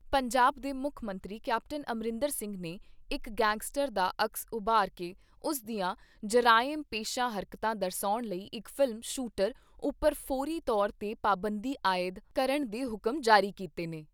ਪੰਜਾਬ ਦੇ ਮੁੱਖ ਮੰਤਰੀ ਕੈਪਟਨ ਅਮਰਿੰਦਰ ਸਿੰਘ ਨੇ ਇਕ ਗੈਂਗਸਟਰ ਦਾ ਅਕਸ ਉਭਾਰ ਕੇ ਉਸ ਦੀਆਂ ਜਰਾਇਮ ਪੇਸ਼ਾ ਹਰਕਤਾਂ ਦਰਸਾਉਣ ਵਾਲੀ ਇਕ ਫ਼ਿਲਮ ' ਸ਼ੂਟਰ ਉੱਪਰ ਫੌਰੀ ਤੌਰ ਤੇ ਪਾਬੰਦੀ ਆਏਦ ਕਰਨ ਦੇ ਹੁਕਮ ਜਾਰੀ ਕੀਤੇ ਨੇ।